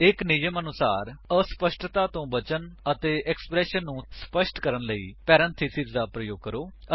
ਇੱਕ ਨਿਯਮ ਦੇ ਅਨੁਸਾਰ ਅਸਪਸ਼ਟਤਾ ਤੋਂ ਬਚਨ ਅਤੇ ਐਕ੍ਸਪਰੇਸ਼ਨ ਨੂੰ ਸਪੱਸ਼ਟ ਕਰਨ ਲਈ ਪਰੇੰਥੇਸਿਸ ਦਾ ਪ੍ਰਯੋਗ ਕਰੋ